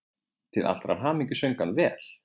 Til allrar hamingju söng hann vel!